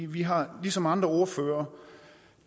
vi har ligesom andre ordførere